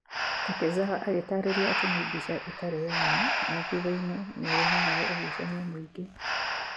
Takezawa agĩtaarĩria atĩ nĩ mbica ĩtarĩ ya ma na thutha-inĩ nĩ rehaga ũgucania mũingĩ.